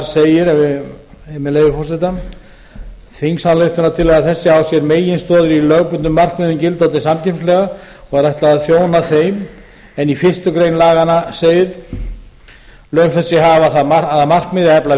segir með leyfi forseta þingsályktunartillaga þessi á sér meginstoðir í lögbundnum markmiðum gildandi samkeppnislaga og er ætlað að þjóna þeim en í fyrstu grein laganna segir lög þessi hafa það markmið að efla